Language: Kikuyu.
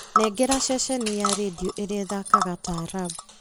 nengera ceceni ya rĩndiũ ĩrĩa ĩthakaga taarab